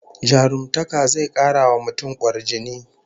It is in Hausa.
Jarumtaka zai kara wa mutum kwarjini